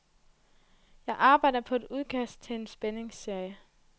Jeg arbejder på et udkast til en spændingsserie.